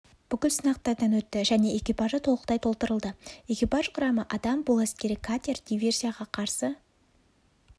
бүкіл сынақтардан өтті және экипажы толықтай толтырылды экипаж құрамы адам бұл әскери катер диверсияға қарсы